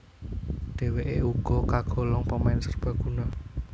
Dheweké uga kagolong pemain serbaguna